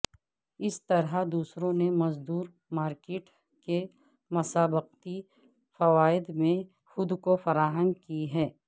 اس طرح دوسروں نے مزدور مارکیٹ کے مسابقتی فوائد میں خود کو فراہم کی ہے